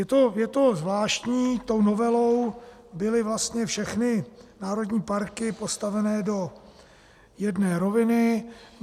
Je to zvláštní, tou novelou byly vlastně všechny národní parky postaveny do jedné roviny.